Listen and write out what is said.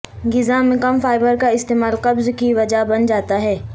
غذا میں کم فائبر کا استعمال قبض کی وجہ بن جاتا ہے